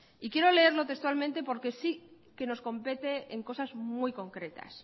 y quiero leerlo textualmente porque sí que nos compete en cosas muy concretas